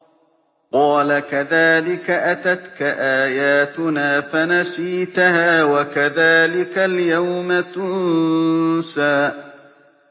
قَالَ كَذَٰلِكَ أَتَتْكَ آيَاتُنَا فَنَسِيتَهَا ۖ وَكَذَٰلِكَ الْيَوْمَ تُنسَىٰ